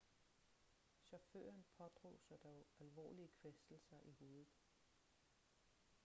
chaufføren pådrog sig dog alvorlige kvæstelser i hovedet